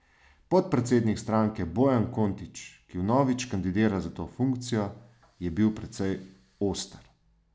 Podpredsednik stranke Bojan Kontič, ki vnovič kandidira za to funkcijo, je bil precej oster.